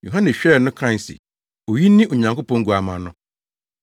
Yohane hwɛɛ no kae se, “Oyi ne Onyankopɔn Guamma no!”